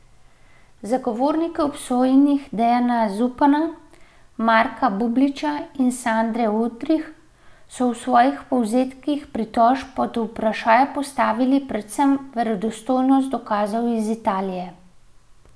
Zagovorniki obsojenih Dejana Zupana, Marka Bubliča in Sandre Udrih so v svojih povzetkih pritožb pod vprašaj postavili predvsem verodostojnost dokazov iz Italije.